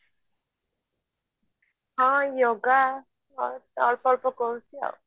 ହଁ yoga କରୁଛି ଅଳ୍ପ ଅଳ୍ପ କରୁଛି ଆଉ